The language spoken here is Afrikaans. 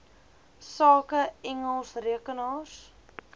sake engels rekenaars